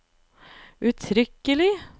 uttrykkelig